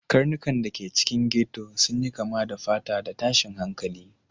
Karnukan da ke cikin ghetto sun yi kama da fata da tashin hankali